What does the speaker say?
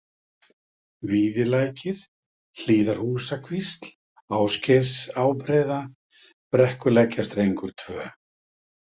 Víðirlækir, Hlíðarhúsakvísl, Ásgeirsárbreiða, Brekkulækjarstrengur II